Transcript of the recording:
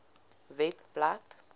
webblad